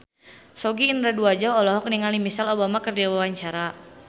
Sogi Indra Duaja olohok ningali Michelle Obama keur diwawancara